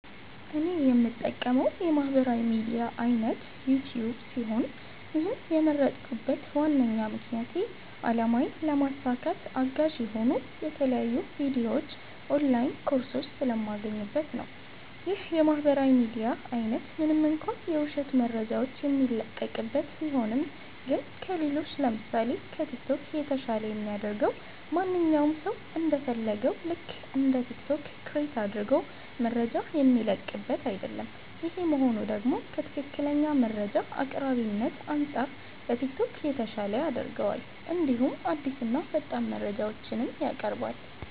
እኔ የምጠቀመዉ የማህበራዊ ሚድያ አይነት ዩቲዩብ ሲሆን ይህን የመረጥኩበት ዋነኛ ምክንያቴ አላማዬን ለማሳካት አጋዥ የሆኑ የተለያዩ ቪዲዮዎች ኦንላይን ኮርሶች ስለማገኝበት ነዉ። ይህ የማህበራዊ ሚዲያ አይነት ምንም እንኳ የዉሸት መረጃዎች የሚለቀቅበት ቢሆንም ግን ከሌሎች ለምሳሴ፦ ከቲክቶክ የተሻለ የሚያደርገዉ ማንኛዉም ሰዉ እንደ ፈለገዉ ልክ እንደ ቲክቶክ ክሬት አድርጎ መረጃ የሚለቅበት አይደለም ይሄ መሆኑ ደግሞ ከትክክለኛ መረጃ አቅራቢነት አንፃር ከቲክቶክ የተሻለ ያደርገዋል እንዲሁም አዲስና ፈጣን መረጃዎችንም ያቀርባል።